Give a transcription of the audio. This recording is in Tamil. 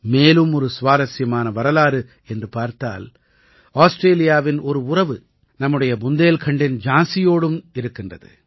மேலும் ஒரு சுவாரசியமான வரலாறு என்று பார்த்தால் ஆஸ்ட்ரேலியாவின் ஒரு உறவு நம்முடைய புந்தேல்கண்டின் ஜான்சியோடும் இருக்கின்றது